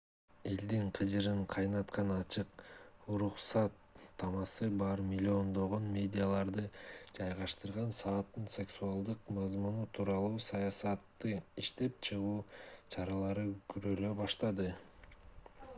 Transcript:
элдин кыжырын кайнаткан ачык уруксаттамасы бар миллиондогон медиаларды жайгаштырган сайттын сексуалдык мазмуну тууралуу саясатты иштеп чыгуу чаралары көрүлө баштады